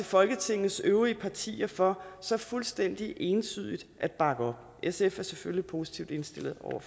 folketingets øvrige partier for så fuldstændig entydigt at bakke op sf er selvfølgelig positivt indstillet over